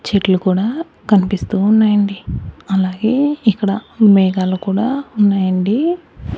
చెట్లు కూడా కనిపిస్తూ ఉన్నాయండి అలాగే ఇక్కడ మేఘాలు కూడా ఉన్నాయండి.